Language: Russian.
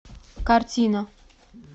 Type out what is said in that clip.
картина